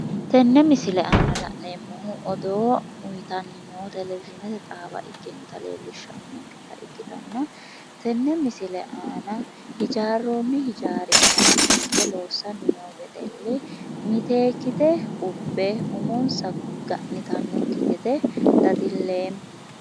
tenne misile aana la'neemmohu odoo uyiitannnni noo televizhiinete xaawa ikkinota leellishshannonketa ikkitanna tenne misilera ana hijaarroonni hijaari aana fulte loossanni noo wedelli miteekkite ubbe umonsa ga'nitannokki gede dadilleemma.